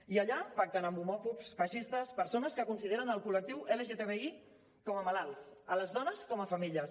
i allà pacten amb homòfobs feixistes persones que consideren el col·lectiu lgtbi com a malalts les dones com a femelles